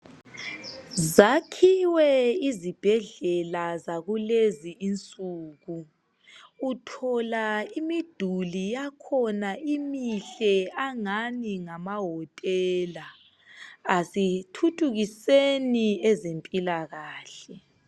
Zakhiwe izibhedlela zakulezi insuku Uthola imiduli yakhona imihle angani ngamahotela asithuthukiseni ezempilakahle